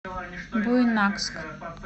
буйнакск